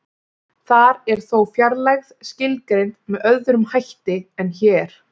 Þar er þó fjarlægð skilgreind með öðrum hætti en hér.